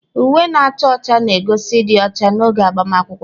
Uwe na-acha ọcha na-egosi ịdị ọcha n'oge agbamakwụkwọ.